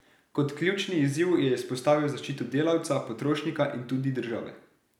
Kot ključni izziv je izpostavil zaščito delavca, potrošnika in tudi države.